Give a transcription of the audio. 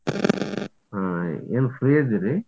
ಏನ್ free ಅದಿರಿ?